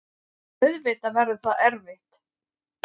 Auðvitað verður það erfitt.